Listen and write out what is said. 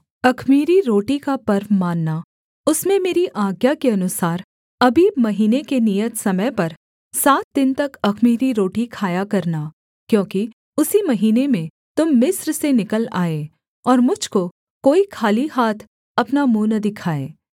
अख़मीरी रोटी का पर्व मानना उसमें मेरी आज्ञा के अनुसार अबीब महीने के नियत समय पर सात दिन तक अख़मीरी रोटी खाया करना क्योंकि उसी महीने में तुम मिस्र से निकल आए और मुझ को कोई खाली हाथ अपना मुँह न दिखाए